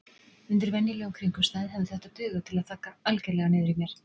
Undir venjulegum kringumstæðum hefði þetta dugað til að þagga algerlega niður í mér.